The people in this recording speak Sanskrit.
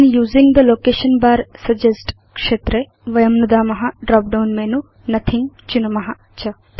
when using the location bar suggest क्षेत्रे वयं नुदाम ड्रॉप डाउन मेनु नोथिंग चिनुम च